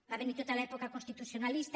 va venir tota l’època constitucionalista